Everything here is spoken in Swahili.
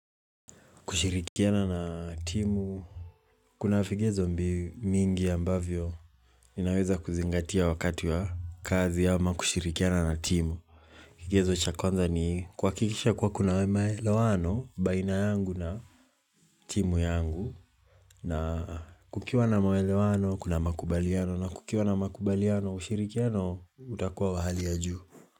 Kushirikiana na timu, kuna vigezo mbili mingi ambavyo unaweza kuzingatia wakati wa kazi ama kushirikiana na timu. Kigezo cha kwanza ni kwa kuhakikisha kuwa kuna maelewano, baina yangu na timu yangu, na kukiwa na maelewano, kuna makubaliano, na kukiwa na makubaliano, ushirikiano, utakuwa wa hali ya juu.